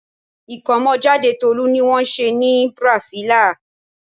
Ìkómọjáde Tolú ni wọ́n ṣe ní Brasilia.